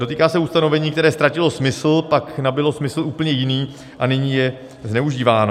Dotýká se ustanovení, které ztratilo smysl, pak nabylo smysl úplně jiný a nyní je zneužíváno.